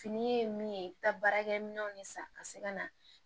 Fini ye min ye i bɛ taa baarakɛminɛnw de san ka se ka na